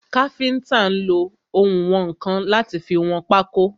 Káfíntà nlo ounwọ̀nkan láti fi wọn pákó.